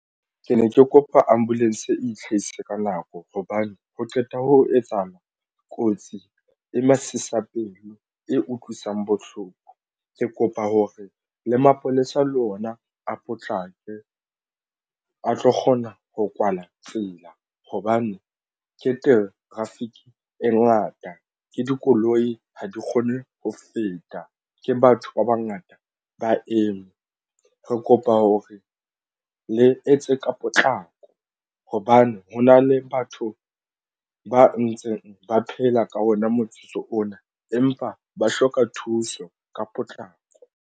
Ke ne ke kopa ambulancevitlhahise ka nako hobane ha qeta ho etsahala kotsi e masisapelo e utlwisang bohloko ke kopa hore le mapolesa le ona a potlake a tlo kgona ho kwala tsela hobane ke teng traffic e ngata ke dikoloi ha di kgone ho feta ke batho ba bangata ba eme. Ke kopa hore le etse ka potlako hobane hona le batho ba ntseng ba phela ka ona motsotso ona empa ba hloka thuso ka potlako.